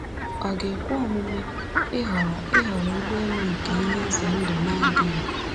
Ọ ga-ekwe omume ịhọrọ ịhọrọ ụgbọelu nke ihe ize ndụ n'adịghị?